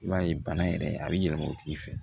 I b'a ye bana yɛrɛ a bɛ yɛlɛma o tigi fɛ